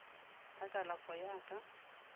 ya kalafo go ya ka